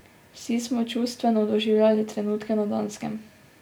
Vsi smo čustveno doživljali trenutke na Danskem.